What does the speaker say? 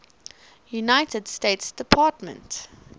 united states department